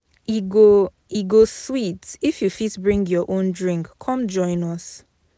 E go E go sweet if you fit bring your own drink come join us.